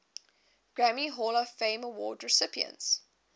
grammy hall of fame award recipients